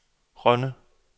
Rønne